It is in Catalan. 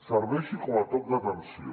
serveixi com a toc d’atenció